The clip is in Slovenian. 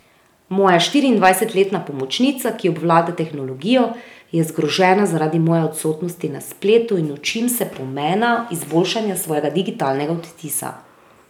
Moja štiriindvajsetletna pomočnica, ki obvlada tehnologijo, je zgrožena zaradi moje odsotnosti na spletu, in učim se pomena izboljšanja svojega digitalnega odtisa.